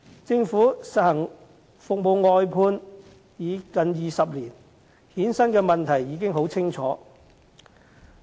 政府實行服務外判已近20年，衍生的問題已很清楚。